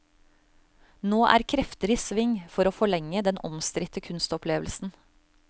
Nå er krefter i sving for å forlenge den omstridte kunstopplevelsen.